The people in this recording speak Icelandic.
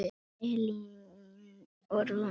Anna Elín og Rúnar.